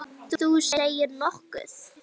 Þú segir nokkuð!